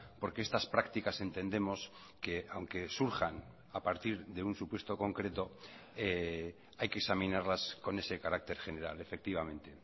porque estas prácticas entendemos que aunque surjan a partir de un supuesto concreto hay que examinarlas con ese carácter general efectivamente